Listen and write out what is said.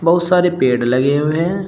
बहुत सारे पेड़ लगे हुए हैं।